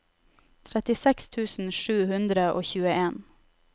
trettiseks tusen sju hundre og tjueen